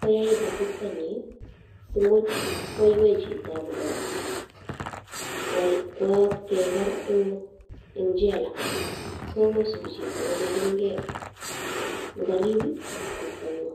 koyait atebtanyin simuch koiwei chito kwaa keker en jela so kosibi chito kolenching'e ng'orib atebtanyun.